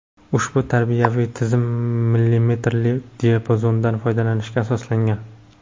Ushbu tajribaviy tizim millimetrli diapazondan foydalanishga asoslangan.